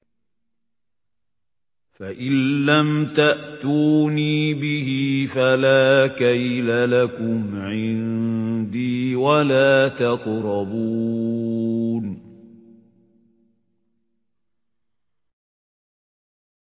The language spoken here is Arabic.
فَإِن لَّمْ تَأْتُونِي بِهِ فَلَا كَيْلَ لَكُمْ عِندِي وَلَا تَقْرَبُونِ